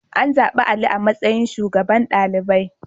An zaɓi Ali a matsayin shugaban ɗalibai.